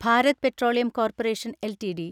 Bharat petroleum corporation LTD